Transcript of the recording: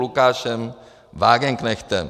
Lukášem Wagenknechtem -